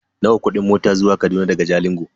Nawa kudin mota zuwa Kaduna daga Jalingo?